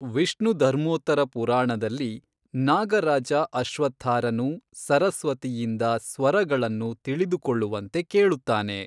ವಿಷ್ಣುಧರ್ಮೋತ್ತರ ಪುರಾಣದಲ್ಲಿ, ನಾಗ ರಾಜ ಅಶ್ವತ್ಥಾರನು ಸರಸ್ವತಿಯಿಂದ ಸ್ವರಗಳನ್ನು ತಿಳಿದುಕೊಳ್ಳುವಂತೆ ಕೇಳುತ್ತಾನೆ.